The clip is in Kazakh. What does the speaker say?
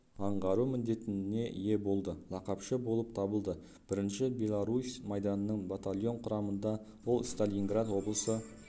аңғару міндетіне ие болды лақапшы болып табылды бірінші белорусь майданының батальон құрамында ол сталининград облысы